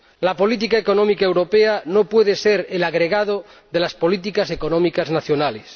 La política económica europea no puede ser el agregado de las políticas económicas nacionales.